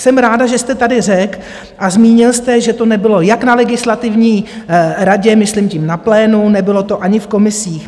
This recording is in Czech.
Jsem ráda, že jste tady řekl a zmínil jste, že to nebylo jak na Legislativní radě, myslím tím na plénu, nebylo to ani v komisích.